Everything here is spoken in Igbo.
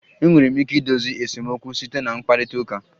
Enwere ike idozi esemokwu site na mkparịta ụka